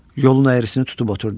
Yolun əyrisini tutub oturdu.